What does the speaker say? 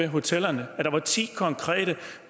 hotellerne at der er ti konkrete